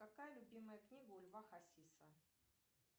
какая любимая книга у льва хасиса